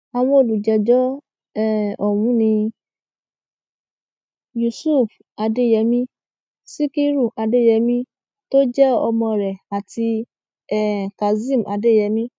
àwọn olùjẹjọ um ọhún ni yusuf adeyemi sikiru adeyemi tó jẹ ọmọ rẹ àti um kazeem adeyemi